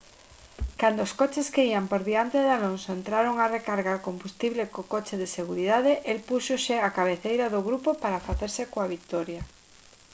cando os coches que ían por diante de alonso entraron a recargar combustible co coche de seguridade el púxose á cabeceira do grupo para facerse coa vitoria